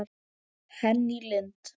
Henný Lind.